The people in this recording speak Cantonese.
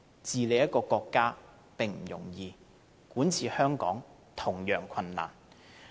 治理國家並不容易，管治香港同樣困難。